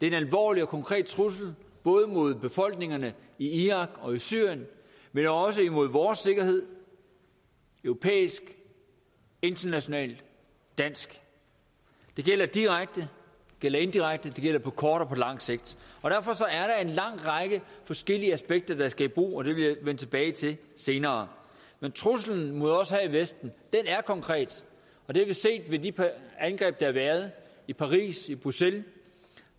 en alvorlig og konkret trussel mod både befolkningerne i irak og i syrien men også imod vores sikkerhed europæisk international dansk det gælder direkte det gælder indirekte det gælder på kort og på lang sigt derfor er der en lang række forskellige aspekter der skal i brug og det vil jeg vende tilbage til senere men truslen mod os her i vesten er konkret og det har vi set ved de par angreb der har været i paris i bruxelles